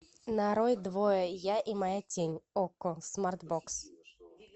нарой двое я и моя тень окко смарт бокс